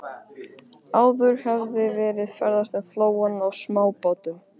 Áður hafði verið ferðast um flóann á smábátum.